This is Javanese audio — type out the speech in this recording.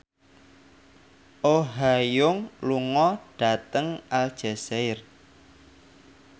Oh Ha Young lunga dhateng Aljazair